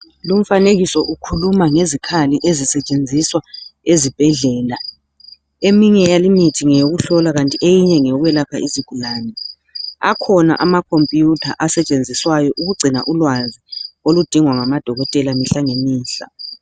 Lumfanekiso ukhuluma ngezikhali ezisetshenziswa ezibhedlela, eminye yalimithi ngeyokuhlola kanti eyinye ngeyokwelapha izigulane akhona amakhompuyutha asetshenziswayo ukugcina ulwazi oludingwa ngamadokotela imihla ngemihla.